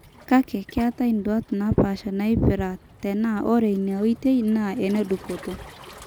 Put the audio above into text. Kake ketae nduat napasha naipira tenaa ore ena oitoi naa enedupoto.